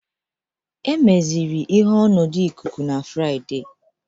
Emeziri ihe ọnọdụ ikuku na Fraịde